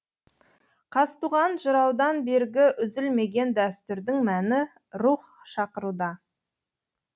қазтуған жыраудан бергі үзілмеген дәстүрдің мәні рух шақыруда